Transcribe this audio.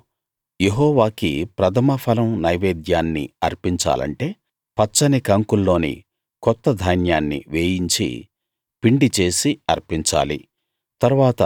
నువ్వు యెహోవాకి ప్రథమ ఫలం నైవేద్యాన్ని అర్పించాలంటే పచ్చని కంకుల్లోని కొత్త ధాన్యాన్ని వేయించి పిండి చేసి అర్పించాలి